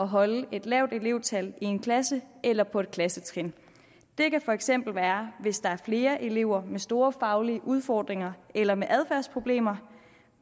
holde et lavt elevtal i en klasse eller på et klassetrin det kan for eksempel være hvis der er flere elever med store faglige udfordringer eller med adfærdsproblemer